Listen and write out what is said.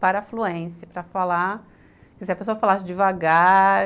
para fluência, para falar, se a pessoa falasse devagar...